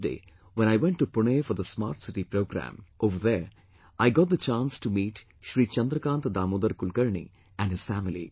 Yesterday when I went to Pune for the Smart City programme, over there I got the chance to meet Shri Chandrakant Damodar Kulkarni and his family